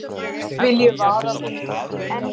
Því vil ég vara við.